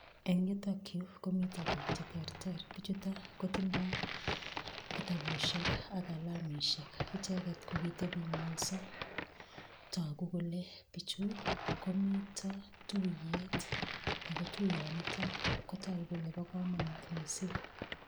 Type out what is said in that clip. Eng' yutokyu komito biik cheterter bichoto kotindoi kitabushek ak kalamishek icheget kokiteping'wenyso toku kole bichu komito tuiyet ako tuyonito kotoku kole bo komonut mising'